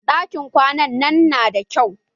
Ɗakin kwanan nan na da kyau.